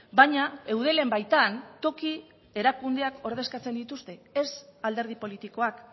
baina eudelen baitan toki erakundeak ordezkatzen dituzte ez alderdi politikoak